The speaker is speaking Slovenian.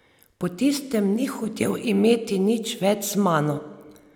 Po tistem ni hotel imeti nič več z mano.